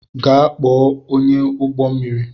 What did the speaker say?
Gaa kpo ọnyáụgbọ mmiri!